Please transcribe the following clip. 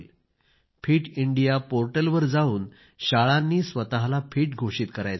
fit India पोर्टलवर जाऊन शाळांनी स्वतःला फिट घोषित करायचे आहे